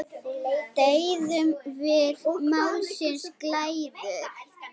Deyðum við málsins glæður?